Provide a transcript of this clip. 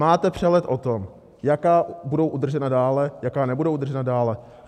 Máte přehled o tom, jaká budou udržena dále, jaká nebudou udržena dále?